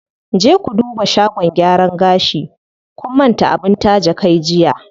Je ku duba shagon gyaran gashi, kun manta abin taje kai jiya.